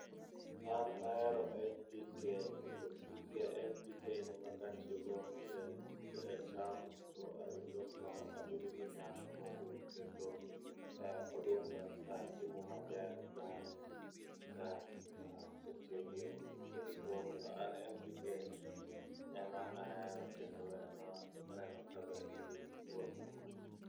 An ahero NPK,kendo PK, NPK ema katiyo go e cham tayudo kabedo gi nyak mobup kendo odumba timo maber Bang'e ka asetiyo gi NPK,koro omiyo an NPK no ema ahero kendo aneno ka ber gi puotha